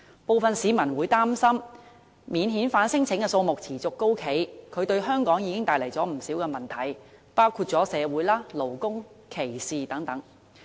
部分市民擔心，免遣返聲請數目持續高企，已經為香港帶來不少問題，包括社會、勞工和歧視等。